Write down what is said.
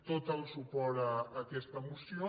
tot el suport a aquesta moció